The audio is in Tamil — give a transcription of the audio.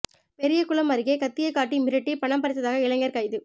பெரியகுளம் அருகே கத்தியை காட்டி மிரட்டி பணம் பறித்தாக இளைஞா் கைது